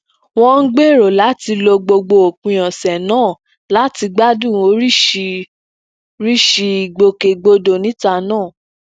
wón ń gbèrò láti lo gbogbo òpin ọsẹ náà láti gbádùn oriṣiriṣi ìgbòkègbodò níta